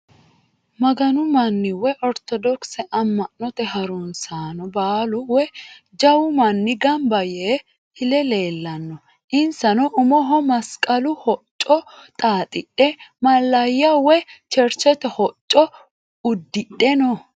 Maganu manni woyi ortodokise amma'note harunsaano baalu woyi jawu manni Gamba Yee file leellanno. Insano umoho masqalu hocco xaaxidhe mallayya woyi cherchete hocco uddidhe no.